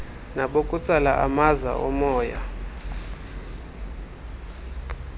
nabokutsala amaza omoya